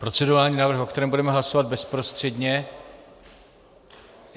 Procedurální návrh, o kterém budeme hlasovat bezprostředně.